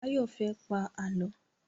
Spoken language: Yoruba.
Báyọ̀ fẹ́ pá Àlọ́.